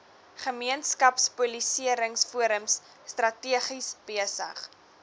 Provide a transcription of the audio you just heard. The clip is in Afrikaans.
gemeenskapspolisieringsforums strategies besig